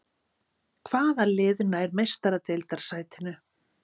Hvaða lið nær Meistaradeildarsætinu?